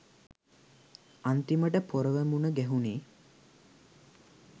අන්තිමට පොරව මුන ගැහුනේ